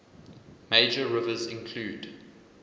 major rivers include